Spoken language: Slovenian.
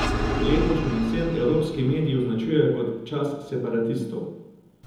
Letošnjo jesen evropski mediji označujejo kot čas separatistov.